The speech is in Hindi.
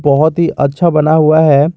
बहोत ही अच्छा बना हुआ है।